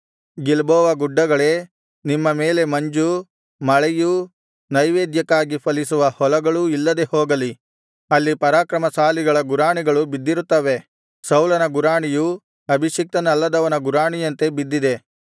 Gilboa ಗುಡ್ಡಗಳೇ ನಿಮ್ಮ ಮೇಲೆ ಮಂಜು ಮಳೆಯು ನೈವೇದ್ಯಕ್ಕಾಗಿ ಫಲಿಸುವ ಹೊಲಗಳೂ ಇಲ್ಲದೆ ಹೋಗಲಿ ಅಲ್ಲಿ ಪರಾಕ್ರಮಶಾಲಿಗಳ ಗುರಾಣಿಗಳು ಬಿದ್ದಿರುತ್ತವೆ ಸೌಲನ ಗುರಾಣಿಯೂ ಅಭಿಷಿಕ್ತನಲ್ಲದವನ ಗುರಾಣಿಯಂತೆ ಬಿದ್ದಿದೆ